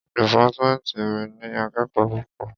Dìpátmẹ́ntì mi ní akẹ́kòó púpọ̀.